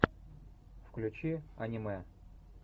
включи аниме